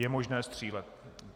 Je možné střílet.